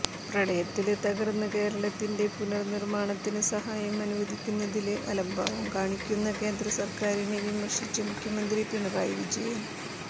പ്രളയത്തില് തകര്ന്ന കേരളത്തിന്റെ പുനര്നിര്മ്മാണത്തിന് സഹായം അനുവദിക്കുന്നതില് അലംഭാവം കാണിക്കുന്ന കേന്ദ്രസര്ക്കാരിനെ വിമര്ശിച്ച് മുഖ്യമന്ത്രി പിണറായി വിജയന്